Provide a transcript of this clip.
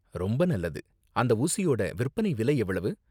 ரொம்ப நல்லது. அந்த ஊசியோட விற்பனை விலை எவ்வளவு?